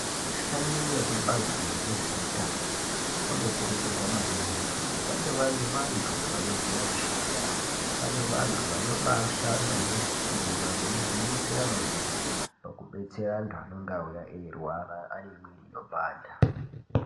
Vashandi vekubazi rezveutano, vanokurudzirwa maningi kuti vange vari vantu vanoziya mishando yawo, vari vanhu vanobaa shanda ngesimba veigwinyisira maningi, paku betsera antu anenge auya eirwara ane mwiri inopanda.